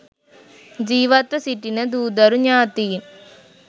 ජීවත්ව සිටින දූදරු ඥාතීන්